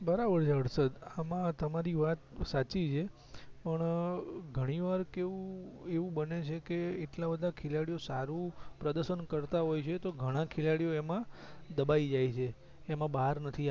બરાબર છે હર્ષદ તમારી વાત સાચી છે પણ ઘણી વાર કેવું એવું બને છે કે એટલા બધા ખેલાડી સારું પ્રદશન કરતા હોય છે તો ઘણા ખેલાડી ઓ એમાં દબાય જાય છે એમાં બહાર નથી